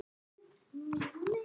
Þar á meðal Thomas.